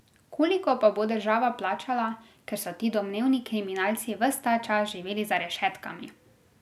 Koliko pa bo država plačala, ker so ti domnevni kriminalci ves ta čas živeli za rešetkami?